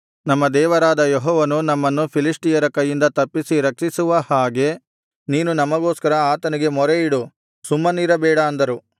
ನಮ್ಮ ದೇವರಾದ ಯೆಹೋವನು ನಮ್ಮನ್ನು ಫಿಲಿಷ್ಟಿಯರ ಕೈಯಿಂದ ತಪ್ಪಿಸಿ ರಕ್ಷಿಸುವ ಹಾಗೆ ನೀನು ನಮಗೋಸ್ಕರ ಆತನಿಗೆ ಮೊರೆಯಿಡು ಸುಮ್ಮನಿರಬೇಡ ಅಂದರು